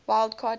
wild card team